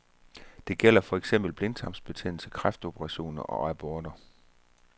Det gælder for eksempel blindtarmsbetændelse, kræftoperationer og aborter.